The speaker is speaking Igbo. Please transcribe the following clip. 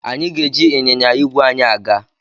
Anyị ga-eji ịnyịnya igwe anyị aga.